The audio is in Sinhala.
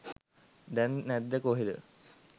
දැන් නැද්ද කොහෙද